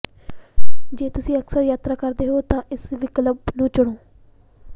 ਜੇ ਤੁਸੀਂ ਅਕਸਰ ਯਾਤਰਾ ਕਰਦੇ ਹੋ ਤਾਂ ਇਸ ਵਿਕਲਪ ਨੂੰ ਚੁਣੋ